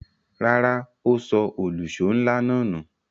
Rárá, ó sọ òlùṣó ńlá náà nù.